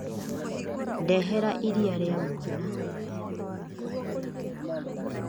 Ndehera iria rĩa mwana.